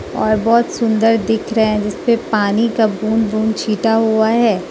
और बहोत सुंदर दिख रहे है जिसपे पानी का बूंद बूंद छींटा हुआ है।